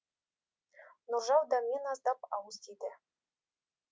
нұржау дәмнен аздап ауыз тиді